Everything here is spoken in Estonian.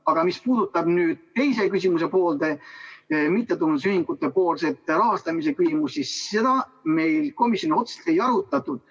Aga mis puudutab nüüd küsimuse teist poolt – mittetulundusühingutepoolset rahastamise küsimust –, siis seda me komisjonis otseselt ei arutanud.